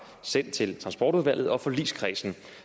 sendt til transportudvalget og forligskredsen